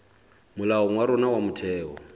molaong wa rona wa motheo